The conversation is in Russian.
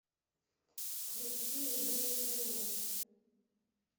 включи зе интернет